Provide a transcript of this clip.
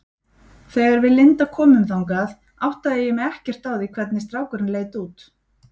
Þegar við Linda komum þangað áttaði ég mig ekkert á því hvernig strákurinn leit út.